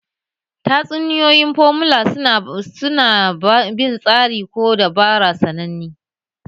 Tatsuniyoyin formula su na bin tsari ko dabara sananne